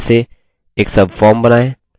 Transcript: एक subform बनाएँ